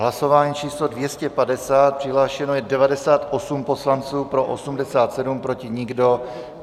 Hlasování číslo 250, přihlášeno je 98 poslanců, pro 87, proti nikdo.